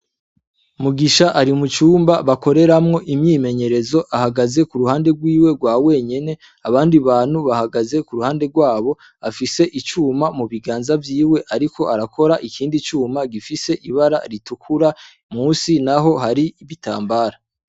Mugisha ari mu cumba bakoreramwo imyimenyerezo ahagaze ku ruhande rwiwe rwa wenyene abandi bantu bahagaze ku ruhande rwabo, afise icuma mu biganza vyiwe ariko arakora ikindi cuma gifise ibara ritukura musi naho hari ibitambara.